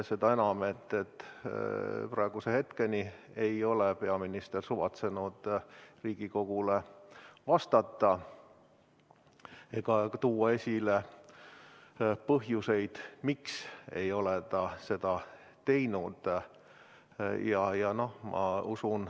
Seda enam, et praeguse hetkeni ei ole peaminister suvatsenud Riigikogule vastata ja nimetada põhjust, miks ta ei ole seda teinud.